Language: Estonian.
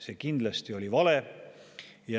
See kindlasti oli vale.